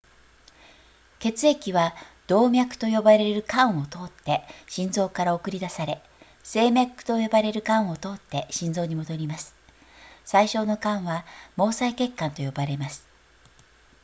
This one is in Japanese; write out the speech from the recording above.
血液は動脈と呼ばれる管を通って心臓から送り出され静脈と呼ばれる管を通って心臓に戻ります最小の管は毛細血管と呼ばれます